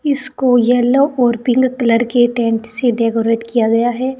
इसको येलो और pink colour के टेंट से डेकोरेट किया गया है।